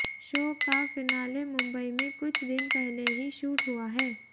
show का finale Mumbai में कुछ दिन पहले ही शूट हुआ है